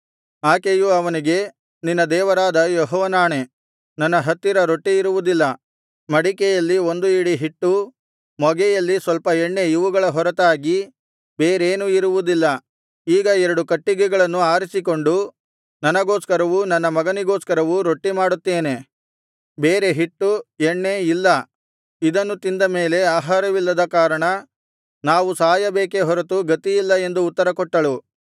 ಆಕೆಯು ಅವನಿಗೆ ನಿನ್ನ ದೇವರಾದ ಯೆಹೋವನಾಣೆ ನನ್ನ ಹತ್ತಿರ ರೊಟ್ಟಿ ಇರುವುದಿಲ್ಲ ಮಡಿಕೆಯಲ್ಲಿ ಒಂದು ಹಿಡಿ ಹಿಟ್ಟು ಮೊಗೆಯಲ್ಲಿ ಸ್ವಲ್ಪ ಎಣ್ಣೆ ಇವುಗಳ ಹೊರತಾಗಿ ಬೇರೇನೂ ಇರುವುದಿಲ್ಲ ಈಗ ಎರಡು ಕಟ್ಟಿಗೆಗಳನ್ನು ಆರಿಸಿಕೊಂಡು ನನಗೋಸ್ಕರವೂ ನನ್ನ ಮಗನಿಗೋಸ್ಕರವೂ ರೊಟ್ಟಿ ಮಾಡುತ್ತೇನೆ ಬೇರೆ ಹಿಟ್ಟು ಎಣ್ಣೆ ಇಲ್ಲ ಇದನ್ನು ತಿಂದ ಮೇಲೆ ಆಹಾರವಿಲ್ಲದ ಕಾರಣ ನಾವು ಸಾಯಬೇಕೇ ಹೊರತು ಬೇರೆ ಗತಿಯಿಲ್ಲ ಎಂದು ಉತ್ತರಕೊಟ್ಟಳು